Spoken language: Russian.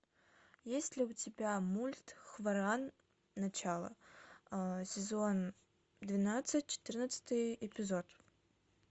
есть ли у тебя мульт хваран начало сезон двенадцать четырнадцатый эпизод